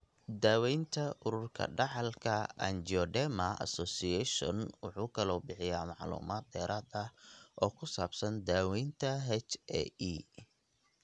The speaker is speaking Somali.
daawaynta Ururka Dhaxalka Angioedema Association wuxuu kaloo bixiyaa macluumaad dheeraad ah oo ku saabsan daaweynta HAE.